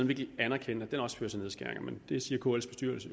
vil anerkende at den også fører til nedskæringer men det siger kls